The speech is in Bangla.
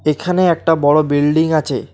এখানে একটা বড়ো বিল্ডিং আছে।